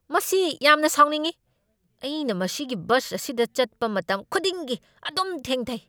ꯃꯁꯤ ꯌꯥꯝꯅ ꯁꯥꯎꯅꯤꯡꯢ! ꯑꯩꯅ ꯃꯁꯤꯒꯤ ꯕꯁ ꯑꯁꯤꯗ ꯆꯠꯄ ꯃꯇꯝ ꯈꯨꯗꯤꯡꯒꯤ ꯑꯗꯨꯝ ꯊꯦꯡꯊꯩ꯫